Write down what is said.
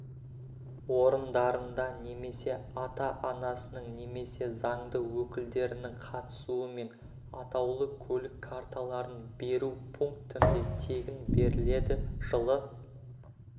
орындарында немесе ата-анасының немесе заңды өкілдерінің қатысуымен атаулы көлік карталарын беру пунктінде тегін беріледі жылы